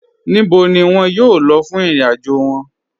Níbò ni wọn yóò lọ̀ fún ìrìn-àjò wọn?